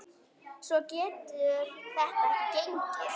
Svona getur þetta ekki gengið.